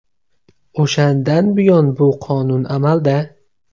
O‘shandan buyon bu qonun amalda.